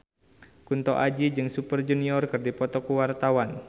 Kunto Aji jeung Super Junior keur dipoto ku wartawan